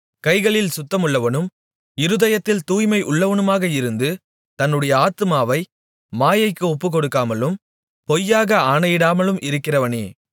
கைகளில் சுத்தமுள்ளவனும் இருதயத்தில் தூய்மை உள்ளவனுமாக இருந்து தன்னுடைய ஆத்துமாவை மாயைக்கு ஒப்புக்கொடுக்காமலும் பொய்யாக ஆணையிடாமலும் இருக்கிறவனே